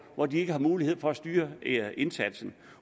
hvor de ikke har mulighed for at styre indsatsen